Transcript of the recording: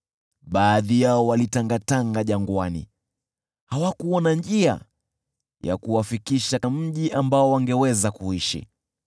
Baadhi yao walitangatanga jangwani, hawakuona njia ya kuwafikisha mji ambao wangeweza kuishi.